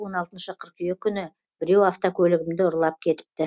он алтыншы қыркүйек күні біреу автокөлігімді ұрлап кетіпті